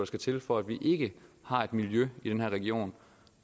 skal til for at vi ikke har et miljø i den her region